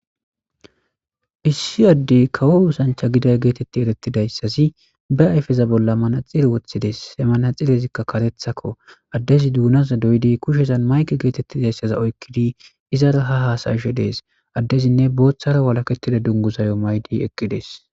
Issi addey kawo osancha gida geetetti erettidayssazi ba ayfeza bolla manaxire woththides . He manaxirezikka katethakko addezi duunaza doyidi kushezan mayke geetettidayssaza oykkidi izara ha haasayishe dees. Addezinne booththara walakettida dunguzayo maydi eqqides.